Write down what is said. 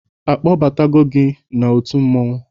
A kpọbatago gị n'otu mmọnwụ?